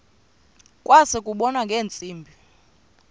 kwase kubonwa ngeentsimbi